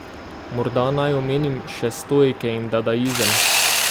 Morda naj omenim še stoike in dadaizem.